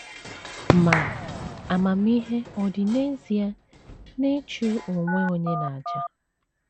Ma, amamihe ọ̀ dị n’ezie n’ịchụ onwe onye n’àjà?